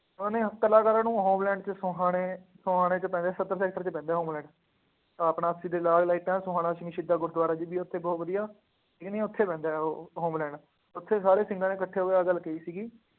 ਉਹਨਾ ਨੇ ਸਭ ਕਲਾਕਾਰਾਂ ਨੂੰ ਹੋਮਲੈਂਡ ਚ ਸਮਾਣੇ ਵਿੱਚ ਪੈਂਦਾ ਸੱਤਰ ਸੈਕਟਰ ਵਿੱਚ ਪੈਂਦਾ ਹੋਮਲੈਂਡ, ਆਹ ਆਪਣਾ ਦੇ ਨਾਲ ਲਾਈਟਾਂ, ਸੋਹਾਣਾ ਸਿੰਘ ਸ਼ਹੀਦਾਂ ਗੁਰਦੁਆਂਰਾ ਜੀ ਵੀ ਉੱਥੇ ਬਹੁਤ ਵਧੀਆ, ਇਹਨੇ ਉੱਥੇ ਮਿਲ ਜਾਣਾ ਹੋਮਲੈਂਡ, ਉੱਥੇ ਸਾਰੇ ਸ਼ਿੰਗਰਾਂ ਨੇ ਇਕੱਠੇ ਹੋ ਕੇ ਆਹ ਗੱਲ ਕਹੀ ਸੀ।